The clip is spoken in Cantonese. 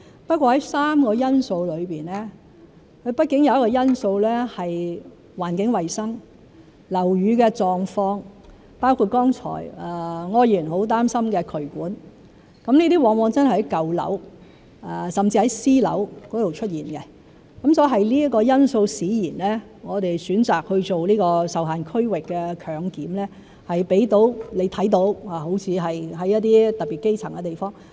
不過，在3個因素當中，畢竟有一個因素是環境衞生、樓宇的狀況，包括剛才柯議員很擔心的渠管狀況，這些往往都真的在舊樓甚至是私樓出現，所以是這個因素使然，讓你看到我們好像選擇在特別基層的地方做這"受限區域"強檢。